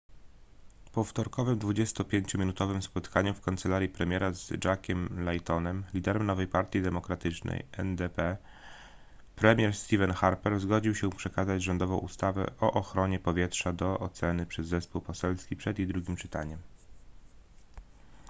po wtorkowym 25-minutowym spotkaniu w kancelarii premiera z jackiem laytonem liderem nowej partii demokratycznej ndp premier stephen harper zgodził się przekazać rządową ustawę o ochronie powietrza do oceny przez zespół poselski przed jej drugim czytaniem